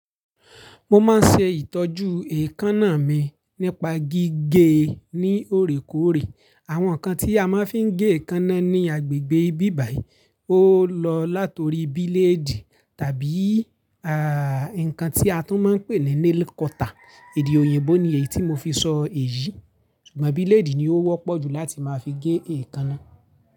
Mo máa ń ṣe ìtọ́jú èékánná mi nípa gígé ní òorékoòrè. Àwọn nǹkan tí a máa ń fi gé èékánná ní agbègbè ibí bàyí, ó lọ látòrí bíléèdì tàbí à nǹkan tí a tún máa ń pè ní nail cutter. Èdè òyìnbó ni èyí tí mo fi sọ èyí. Ṣùgbọ́n bíléèdì ni ó wọ́pọ̀ jù láti máa fi gé èékánná.